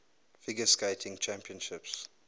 figure skating championships